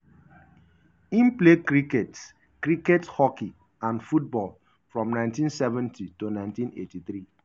im play cricket cricket hockey and football from 1970 to 1983.